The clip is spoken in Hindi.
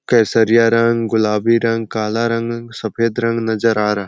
केसरिया रंग गुलाबी रंग काला रंग सफेद रंग नज़र आ रहा है।